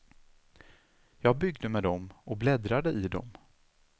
Jag byggde med dom och bläddrade i dom.